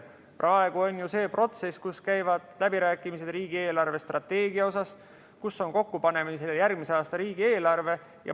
Praegu on see protsess, kus käivad läbirääkimised riigieelarve strateegia üle, kus on kokku panemisel järgmise aasta riigieelarve.